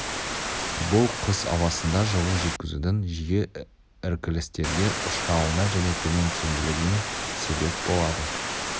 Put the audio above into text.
бұл қыс ауасында жылу жеткізудің жиі іркілістерге ұшырауына және төмен тиімділігіне себеп болады